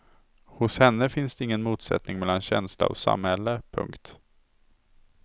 Hos henne finns det ingen motsättning mellan känsla och samhälle. punkt